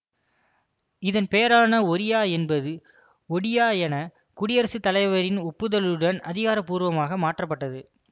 இதன் பெயரான ஒரியா என்பது ஒடியா என குடியரசு தலைவரின் ஒப்புதலுடன் அதிகாரபூர்வமாக மாற்றப்பட்டது